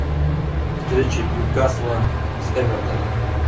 встреча ньюкасла с эвертоном